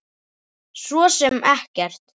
Svo sem ekkert.